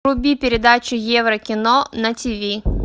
вруби передачу евро кино на тв